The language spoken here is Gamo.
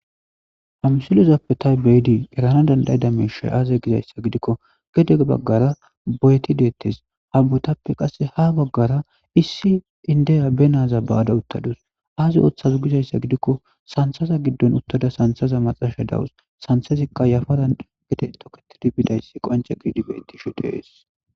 Ha misilezappe tayi be'idi erana danda'ida miishshi aaze gizayssa gidikko gede baggara boyeti deettes. Ha boyetappe qasse ha baggara issi inddiya be na'aza ba'ada uttadus. Aazi ooththazu gizayssa gidikko sanththaza giddon uttada sanththeza maxashe de'awus. Sanththezikka yafaran gede tookitidi bidayssi qoncce gididi beetteshe de'es.